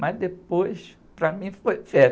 Mas, depois, para mim, foi